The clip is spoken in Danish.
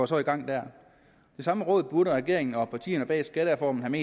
så i gang der det samme råd burde regeringen og partierne bag skattereformen have